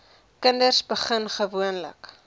kinders begin gewoonlik